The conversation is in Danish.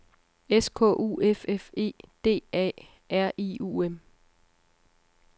S K U F F E D A R I U M